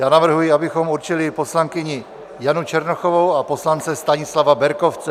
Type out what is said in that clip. Já navrhuji, abychom určili poslankyni Janu Černochovou a poslance Stanislava Berkovce.